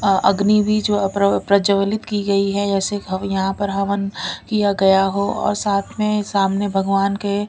अग्नि भी जो प्रजवलित की गई है जैसे यहां पर हवन किया गया हो और साथ में सामने भगवान के--